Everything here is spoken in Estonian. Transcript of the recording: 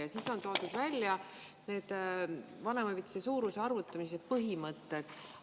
" Ja siis on toodud välja vanemahüvitise suuruse arvutamise põhimõtted.